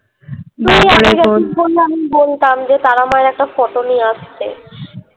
শোন না আমি বলতাম যে তারা মায়ের একটা photo নিয়ে আসতে